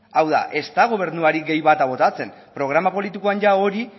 hau da ez da gobernuari gehi bata botatzen programa politikoan ia hori